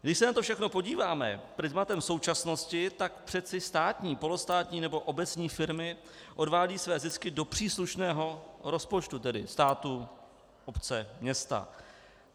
Když se na to všechno podíváme prizmatem současnosti, tak přeci státní, polostátní nebo obecní firmy odvádějí své zisky do příslušného rozpočtu, tedy státu, obce, města.